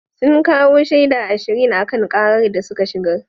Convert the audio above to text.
Sun kawo shaida ashirin a kan karar da suka shigar.